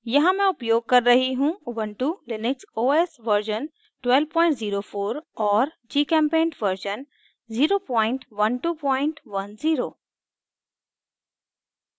यहाँ मैं उपयोग कर रही हूँ ubuntu लिनक्स os version 1204 और gchempaint version 01210